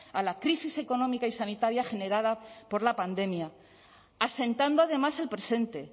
a la crisis económica y sanitaria generada por la pandemia asentando además el presente